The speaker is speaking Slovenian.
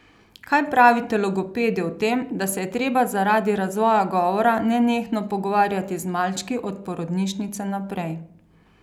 Kaj pravite logopedi o tem, da se je treba zaradi razvoja govora nenehno pogovarjati z malčki, od porodnišnice naprej?